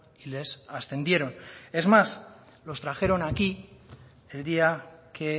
y les ascendieron es más los trajeron aquí el día que